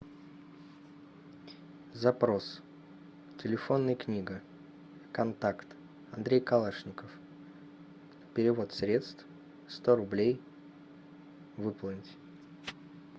запрос телефонная книга контакт андрей калашников перевод средств сто рублей выполнить